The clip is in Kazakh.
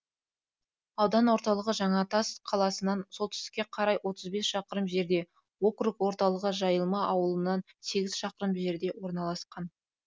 аудан орталығы жаңатас қаласынан солтүстікке қарай отыз бес шақырым жерде округ орталығы жайылма ауылынан сегіз шақырым жерде орналасқан